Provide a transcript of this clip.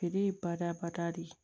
Feere ye badabada de ye